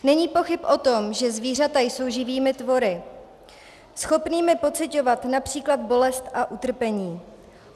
Není pochyb o tom, že zvířata jsou živými tvory, schopnými pociťovat například bolest a utrpení.